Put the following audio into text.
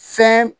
Fɛn